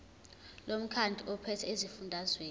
lomkhandlu ophethe esifundazweni